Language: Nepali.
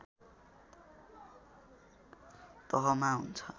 तहमा हुन्छ